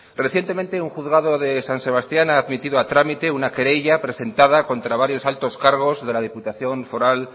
recientemente un juzgado de san sebastián ha admitido a trámite una querella presentada contra varios altos cargos de la diputación foral